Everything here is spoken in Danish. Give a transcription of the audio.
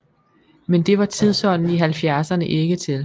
Men det var tidsånden i halvfjerdserne ikke til